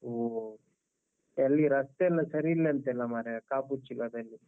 ಹೊ. ಅಲ್ಲಿ ರಸ್ತೆ ಎಲ್ಲ ಸರಿ ಇಲ್ಲ ಅಂತೆಲ್ಲ ಮಾರೆಯಾ ಕಾಪು ಉಚ್ಚಿಲದಲ್ಲಿ.